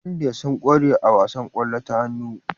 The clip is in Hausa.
India suna kware a wasan kwallo ta hannu